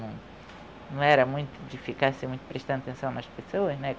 Não era muito de ficar assim prestando atenção nas pessoas.